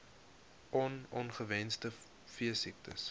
on ongewenste veesiektes